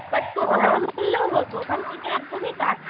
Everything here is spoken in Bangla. but করলেও হত ওখান থেকে একদমই কাছে।